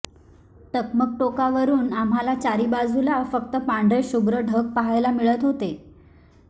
टकमक टोकावरून आम्हाला चारी बाजुला फक्त पांढरे शुभ्र ढग पहायला मिळत हाते